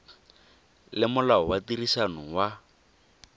le molao wa tirisano wa